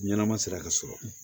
Ɲɛnɛma sera ka sɔrɔ